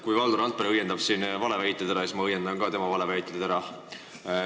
Kui Valdo Randpere õiendas siin valeväited ära, siis ma õiendan omakorda tema valeväited ära.